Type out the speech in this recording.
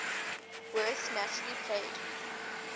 werth naturally played